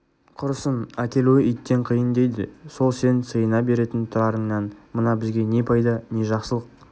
құрысын әкелуі иттен қиын дейді сол сен сиына беретін тұрарыңнан мына бізге не пайда не жақсылық